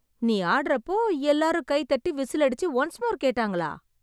நீ ஆடறப்போ எல்லாரும் கை தட்டி, விசில் அடிச்சு, ஒன்ஸ் மோர் கேட்டாங்களா...